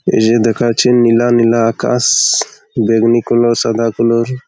এজে দেখাচ্চে নীলা নীলা আকাশ-শ-শ। বেগুনি কোলোর সাদা ।